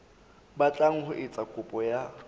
batlang ho etsa kopo ya